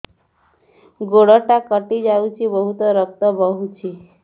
ଗୋଡ଼ଟା କଟି ଯାଇଛି ବହୁତ ରକ୍ତ ବହୁଛି